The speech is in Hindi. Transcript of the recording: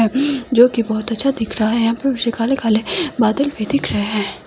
अ जो की बहोत अच्छा दिख रहा है यहां पे पीछे काले-काले बादल भी दिख रहे है।